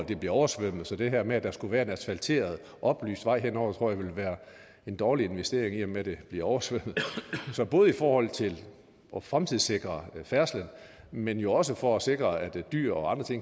det bliver oversvømmet så det her med at der skulle være en asfalteret oplyst vej henover tror jeg ville være en dårlig investering i og med at det bliver oversvømmet så både i forhold til at fremtidssikre færdslen men jo også for at sikre at dyr og